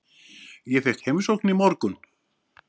Ég fékk heimsókn í morgun.